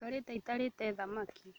Njikarĩte itarĩte thamaki